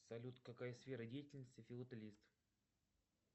салют какая сфера деятельности филателист